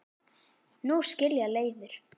Nú skilja leiðir.